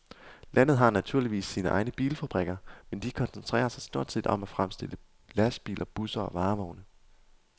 Landet har naturligvis sine egne bilfabrikker, men de koncentrerer sig stort set om at fremstille lastbiler, busser og varevogne.